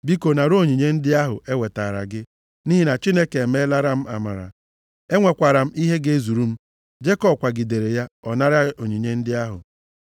Biko nara onyinye ndị ahụ e wetaara gị, nʼihi na Chineke emelara m amara. Enwekwara m ihe ga-ezuru m.” Jekọb kwagidere ya, ọ naara onyinye ndị ahụ.